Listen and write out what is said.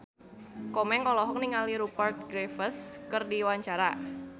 Komeng olohok ningali Rupert Graves keur diwawancara